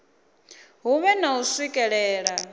hu vhe na u swikelela